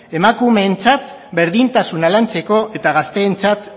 emakumeentzat berdintasuna lantzeko eta gazteentzat